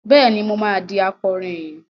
Bẹ́ẹ̀ni, mo máa di akàròyìn.